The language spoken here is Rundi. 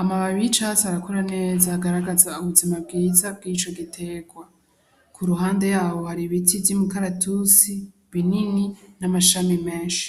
amabab ic asi arakura neza agaragaza ubuzima bwiza bw'ico giterwa ku ruhande yaho hari ibiti vy'imukaratusi binini n'amashami menshi.